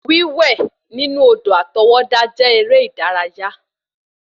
Wiwẹ̀ nínú odò àtọwọ́dá jẹ́ eré ìdárayá